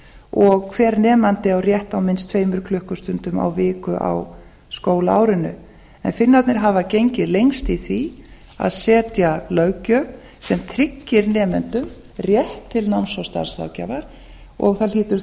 og hver nemandi á rétt á minnst tveimur klukkustundum á viku á skólaárinu en finnarnir hafa gengið lengst í því að setja löggjöf sem tryggir nemendum rétt til starfs og námsráðgjafar og það hlýtur þá